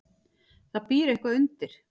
Það býr eitthvað undir.